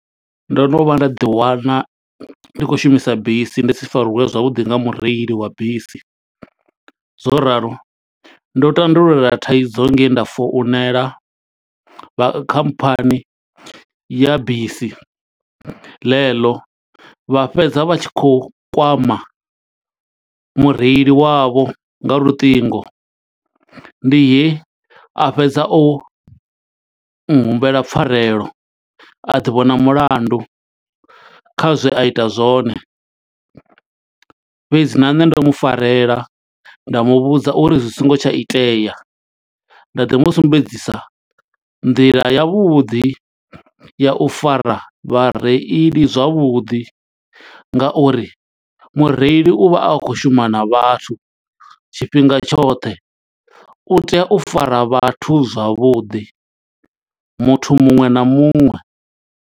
Ndo no vha nda ḓi wana ndi khou shumisa bisi, ndi si fariwe zwavhuḓi nga mureili wa bisi. Zwo ralo ndo tandulula thaidzo nge he nda founela, vha khamphani ya bisi ḽe ḽo. Vha fhedza vha tshi khou kwama mureili wavho nga luṱingo, ndi he a fhedza o u humbela pfarelo. A ḓi vhona mulandu, kha zwe a ita zwone fhedzi na nṋe ndo mu farela nda mu vhudza uri zwi songo tsha itea. Nda ḓi musumbedzisa nḓila ya vhuḓi ya u fara vhareili zwavhuḓi, nga uri mureili u vha a khou shuma na vhathu tshifhinga tshoṱhe. U tea u fara vhathu zwavhuḓi, muthu muṅwe na muṅwe.